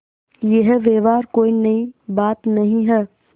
यह व्यवहार कोई नई बात नहीं है